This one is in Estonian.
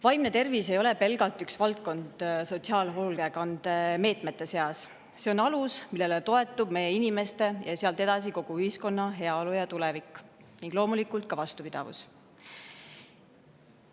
Vaimne tervis ei ole pelgalt üks valdkond sotsiaalhoolekandes, see on alus, millele toetub meie inimeste ja sealt edasi kogu ühiskonna heaolu, tulevik ning loomulikult ka vastupidavus.